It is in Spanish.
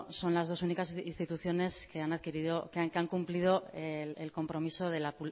son las dos únicas instituciones que han cumplido el compromiso de la